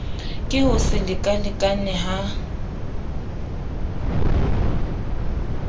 ke ho se lekalekane ha